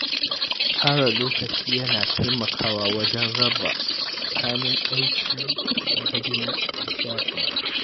Tsara lokaci yana taimakawa wajen raba tsakanin aiki, iyali, da nishaɗi.